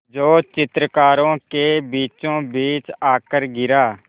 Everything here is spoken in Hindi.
जो चित्रकारों के बीचोंबीच आकर गिरा